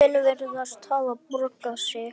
Kaupin virðast hafa borgað sig.